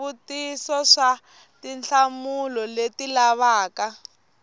swivutiso swa tinhlamulo leti lavaka